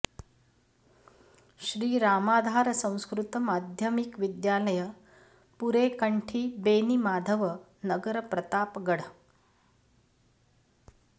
श्री रामाधार संस्कृत माध्यमिक विद्यालय पूरे कन्ठी बेनीमाधव नगर प्रतापगढ़